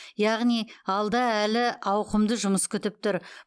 яғни алда әлі ауқымды жұмыс күтіп тұр